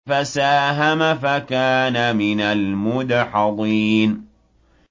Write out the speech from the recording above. فَسَاهَمَ فَكَانَ مِنَ الْمُدْحَضِينَ